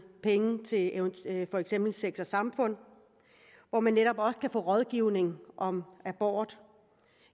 penge til for eksempel sex samfund hvor man netop også kan få rådgivning om abort